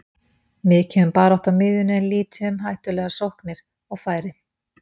Mikið um baráttu á miðjunni en lítið um hættulegar sóknir og færi.